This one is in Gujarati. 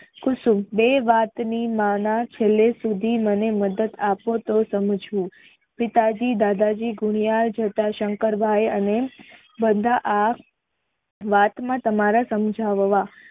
કુસુમ બે વાત ની ના ના છેલ્લે સુધી મદદ આપે તે સમજવું પિતાજી દાદાજી જોતા સંકરભાઈ અને બધા આ વાત માં તમારે સમજાવવા